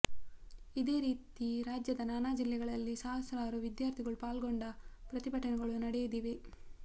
ಇದೇ ರೀತಿ ರಾಜ್ಯದ ನಾನಾ ಜಿಲ್ಲೆಗಳಲ್ಲಿ ಸಹಸ್ರಾರು ವಿದ್ಯಾರ್ಥಿಗಳು ಪಾಲ್ಗೊಂಡ ಪ್ರತಿಭಟನೆಗಳು ನಡೆದಿವೆ